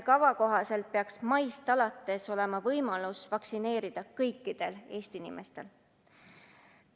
Kava kohaselt peaks maist alates olema võimalus vaktsineerida kõikidel Eesti inimestel.